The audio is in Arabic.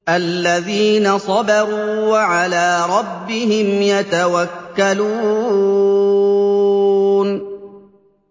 الَّذِينَ صَبَرُوا وَعَلَىٰ رَبِّهِمْ يَتَوَكَّلُونَ